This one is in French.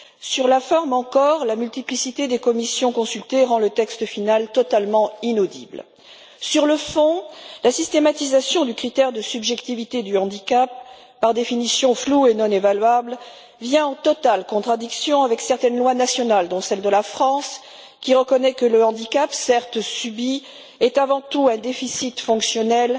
Sur la forme encore, la multiplicité des commissions consultées rend le texte final totalement inaudible. Sur le fond, la systématisation du critère de subjectivité du handicap, par définition flou et non évaluable, vient en totale contradiction avec certaines lois nationales, dont la loi française, qui reconnaît que le handicap, certes subi, est avant tout un déficit fonctionnel et